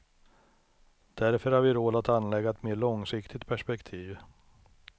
Därför har vi råd att anlägga ett mer långsiktigt perspektiv.